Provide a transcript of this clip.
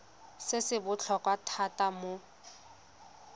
se se botlhokwa thata mo